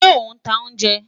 Ṣe o n ta ounjẹ?